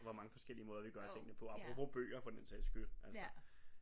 Hvor mange forskellige måder vi gør tingene på apropos bøger for den sags skyld altså